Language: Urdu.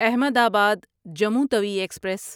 احمد آباد جموں توی ایکسپریس